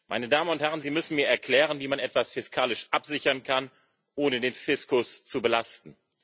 Meine Damen und Herren, Sie müssen mir erklären, wie man etwas fiskalisch absichern kann, ohne den Fiskus zu belasten.